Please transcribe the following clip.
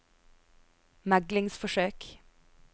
meglingsforsøk